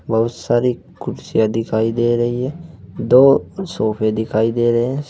बहुत सारी कुर्सियां दिखाई दे रही हैं दो सोफे दिखाई दे रहे हैं।